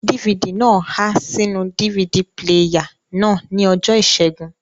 DVD náà há sínú DVD píléyà náà ní ọjọ́ ìṣẹ́gun